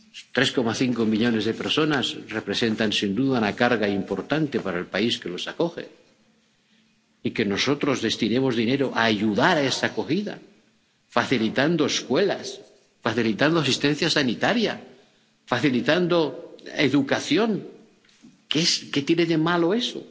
Tres millones y medio de personas representan, sin duda, una carga importante para el país que los acoge, y que nosotros destinemos dinero a ayudar a esa acogida facilitando escuelas, facilitando asistencia sanitaria, facilitando educación, ¿qué tiene de malo eso?